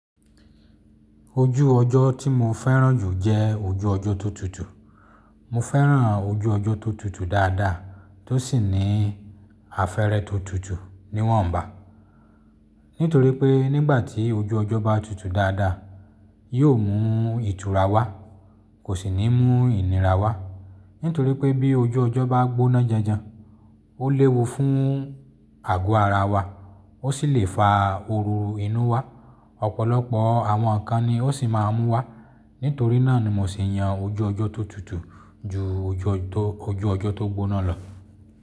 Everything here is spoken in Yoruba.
Ojú ọjọ́ tí mo fẹ́ràn jù jẹ́ ojú ọjọ́ tó tutù. Mo fẹ́ràn ojú ọjọ́ tó tutù dáadáa tó sì ní afẹ̀rẹ̀ tó tutù níwọ̀nba. Nítorí pé nígbà tí ojú ọjọ́ bá tutù dáadáa, yóò mú ìtura wá, kò sì ní mú ìnira wá. Nítorí pé bí ojú ọjọ́ bá gbóná janjan, ó léwu fún àgọ́ ara wa, ó sì lè fa òrùn inú wá, ọ̀pọ̀lọpọ̀ àwọn ǹkà ni ó sì máa mú wá. Nítorí náà ni mo sì yan ojú ọjọ́ tó tutù ju ojú ọjọ́ tó gbóná lọ.